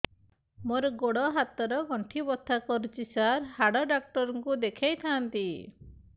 ମୋର ଗୋଡ ହାତ ର ଗଣ୍ଠି ବଥା କରୁଛି ସାର ହାଡ଼ ଡାକ୍ତର ଙ୍କୁ ଦେଖାଇ ଥାନ୍ତି